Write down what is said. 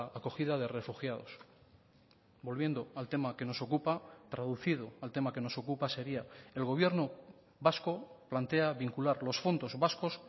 acogida de refugiados volviendo al tema que nos ocupa traducido al tema que nos ocupa sería el gobierno vasco plantea vincular los fondos vascos